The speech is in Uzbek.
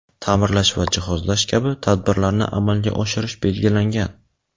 ta’mirlash va jihozlash kabi tadbirlarni amalga oshirish belgilangan.